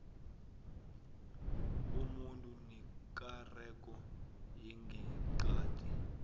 komuntu nekareko yangeqadi